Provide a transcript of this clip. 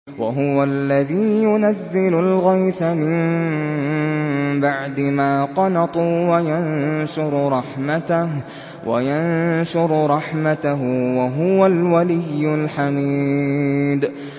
وَهُوَ الَّذِي يُنَزِّلُ الْغَيْثَ مِن بَعْدِ مَا قَنَطُوا وَيَنشُرُ رَحْمَتَهُ ۚ وَهُوَ الْوَلِيُّ الْحَمِيدُ